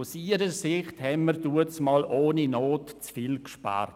Aus ihrer Sicht haben wir damals ohne Not zu viel gespart.